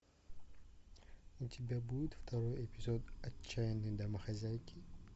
у тебя будет второй эпизод отчаянные домохозяйки